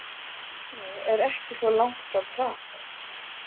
Brno er ekki svo langt frá Prag.